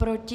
Proti?